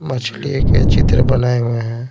मछली के चित्र बनाए हुए हैं।